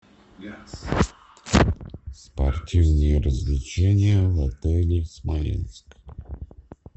спортивные развлечения в отеле смоленск